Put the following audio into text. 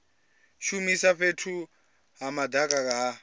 shumisa fhethu ha madaka ha